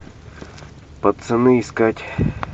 пацаны искать